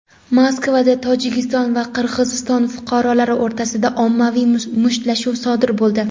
Moskvada Tojikiston va Qirg‘iziston fuqarolari o‘rtasida ommaviy mushtlashuv sodir bo‘ldi.